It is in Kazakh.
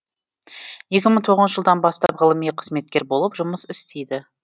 екі мың тоғызыншы жылдан бас ғылыми қызметкер болып жұмыс істейді